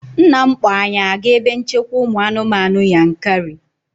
Nna m kpọọ anyị aga ebe nchekwa ụmụ anụmanụ Yankari